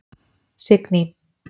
Signý